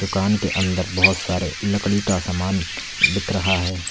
दूकान के अंदर बहुत सारे लकड़ी का सामान बिक रहा है।